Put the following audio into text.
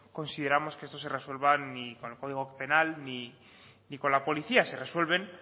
consideramos que esto se resuelva ni con el código penal ni con la policía se resuelven